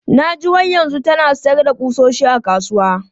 Na ji wai yanzu tana sayar da ƙusoshi a kasuwa.